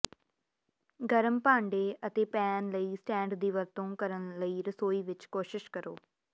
ਗਰਮ ਭਾਂਡੇ ਅਤੇ ਪੈਨ ਲਈ ਸਟੈਂਡ ਦੀ ਵਰਤੋਂ ਕਰਨ ਲਈ ਰਸੋਈ ਵਿੱਚ ਕੋਸ਼ਿਸ਼ ਕਰੋ